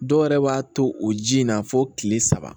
Dɔw yɛrɛ b'a to o ji in na fo kile saba